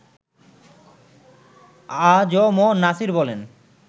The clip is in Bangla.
আ জ ম নাছির বলেন